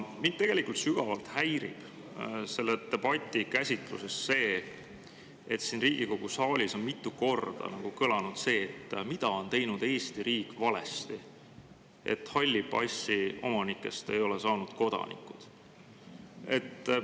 Mind sügavalt häirib selles debatis see, et siin Riigikogu saalis on mitu korda kõlanud, et mida on teinud Eesti riik valesti, kui halli passi omanikest ei ole saanud kodanikke.